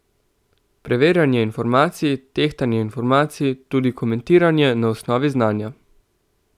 Preverjanje informacij, tehtanje informacij, tudi komentiranje na osnovi znanja.